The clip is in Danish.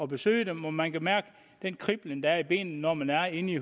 besøge dem og man kan mærke den kriblen der er i benene når man er inde i